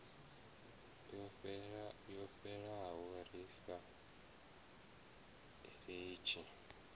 yo fhelaho ri sa litshi